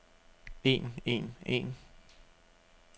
en en en